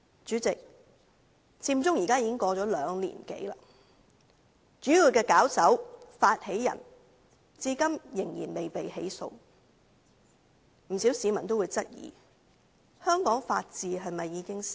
主席，佔中事件已經過了兩年多，主要的發起人至今仍然未被起訴，不少市民均質疑，香港是否法治已死？